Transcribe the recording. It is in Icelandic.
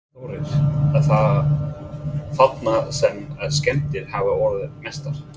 Þórir: Er það þarna sem að skemmdir hafa orðið mestar?